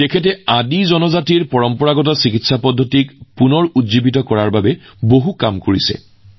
তেওঁ আদি জনগোষ্ঠীৰ পৰম্পৰাগত চিকিৎসা ব্যৱস্থা পুনৰুজ্জীৱিত কৰাৰ বাবে বহু কাম কৰিছে